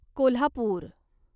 Kolhapur